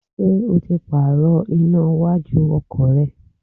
Ṣé o ti Pààrọ̀ iná iwájú ọkọ̀ rẹ?